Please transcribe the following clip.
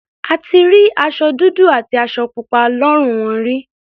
A ti rí aṣọ dúdú àti aṣọ pupa lọ́rùn wọn rí.